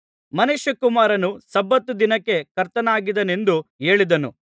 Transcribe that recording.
ಮನುಷ್ಯಕುಮಾರನು ಸಬ್ಬತ್ ದಿನಕ್ಕೆ ಕರ್ತನಾಗಿದ್ದಾನೆಂದು ಹೇಳಿದನು